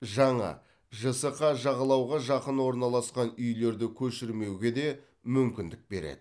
жаңа жсқ жағалауға жақын орналасқан үйлерді көшірмеуге де мүмкіндік береді